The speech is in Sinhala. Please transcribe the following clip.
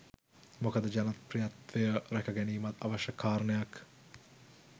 මොකද ජනප්‍රියත්වය ‍රැක ගැනීමත් අවශ්‍ය කාරණයක්.